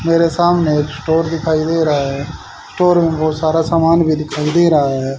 मेरे सामने एक स्टोर दिखाई दे रहा हैं स्टोर में बहुत सारा सामान भी दिखाई दे रहा है।